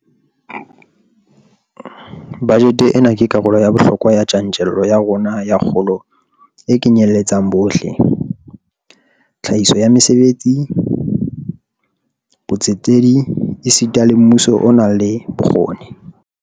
Bajete ena ke karolo ya bohlokwa ya tjantjello ya rona ya kgolo e kenyeletsang bohle, tlhahiso ya mesebetsi, botsetedi esita le mmuso o nang le bokgoni.